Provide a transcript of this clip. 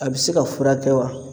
A bi se ka furakɛ wa?